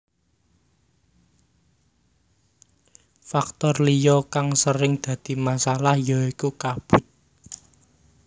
Faktor liya kang sering dadi masalah ya iku kabut